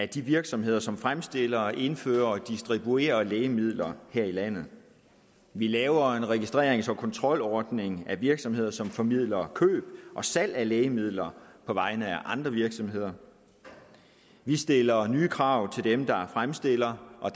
de virksomheder som fremstiller indfører og distribuerer lægemidler her i landet vi laver en registrerings og kontrolordning for virksomheder som formidler køb og salg af lægemidler på vegne af andre virksomheder vi stiller nye krav til dem der fremstiller og